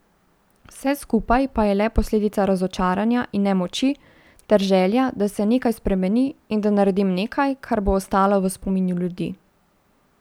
Vse skupaj pa je le posledica razočaranja in nemoči, ter želja, da se nekaj spremeni in da naredim nekaj, kar bo ostalo v spominu ljudi.